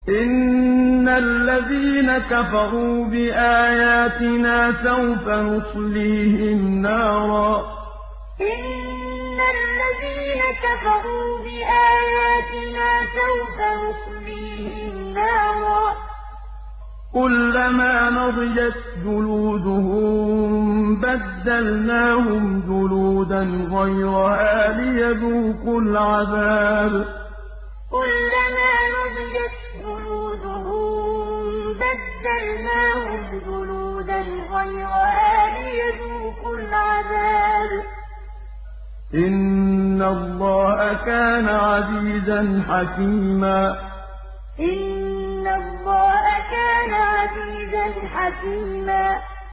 إِنَّ الَّذِينَ كَفَرُوا بِآيَاتِنَا سَوْفَ نُصْلِيهِمْ نَارًا كُلَّمَا نَضِجَتْ جُلُودُهُم بَدَّلْنَاهُمْ جُلُودًا غَيْرَهَا لِيَذُوقُوا الْعَذَابَ ۗ إِنَّ اللَّهَ كَانَ عَزِيزًا حَكِيمًا إِنَّ الَّذِينَ كَفَرُوا بِآيَاتِنَا سَوْفَ نُصْلِيهِمْ نَارًا كُلَّمَا نَضِجَتْ جُلُودُهُم بَدَّلْنَاهُمْ جُلُودًا غَيْرَهَا لِيَذُوقُوا الْعَذَابَ ۗ إِنَّ اللَّهَ كَانَ عَزِيزًا حَكِيمًا